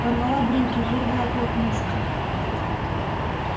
порвала брюки вырвала клок мышцы